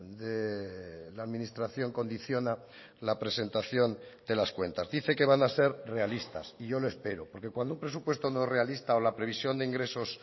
de la administración condiciona la presentación de las cuentas dice que van a ser realistas y yo lo espero porque cuando un presupuesto no es realista o la previsión de ingresos